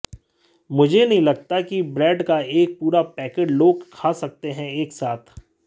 मुझे नहीं लगता कि ब्रेड का एक पूरा पैकेट लोग खा सकते हैं एक साथ